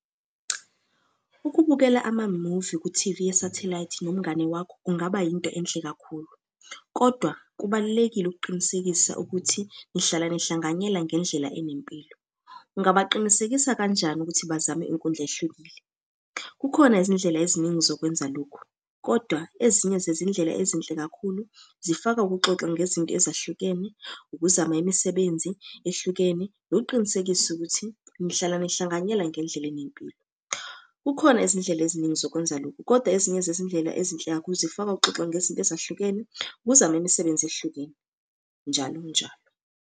Ukubukela amamuvi ku-T_V yesathelayithi nomngane wakho kungaba yinto enhle kakhulu, kodwa kubalulekile ukuqinisekisa ukuthi nihlala nihlanganyele ngendlela enempilo. Ungabaqinisekisa kanjani ukuthi bazame inkundla ehlukile? Kukhona izindlela eziningi zokwenza lokhu, kodwa ezinye zezindlela ezinhle kakhulu, zifaka ukuxoxa ngezinto ezahlukene, ukuzama imisebenzi ehlukene, nokuqinisekisa ukuthi nihlala behlanganyela ngendlela enempilo. Kukhona izindlela eziningi zokwenza lokhu, kodwa ezinye zezindlela ezinhle kakhulu uzifaka ukuxoxa ngezinto ezahlukene, ukuzama imisebenzi ehlukile njalo njalo.